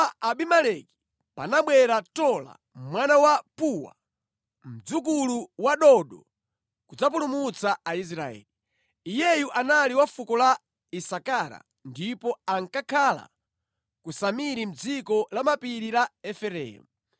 Atafa Abimeleki panabwera Tola mwana wa Puwa, mdzukulu wa Dodo kudzapulumutsa Aisraeli. Iyeyu anali wa fuko la Isakara ndipo ankakhala ku Samiri mʼdziko la mapiri la Efereimu.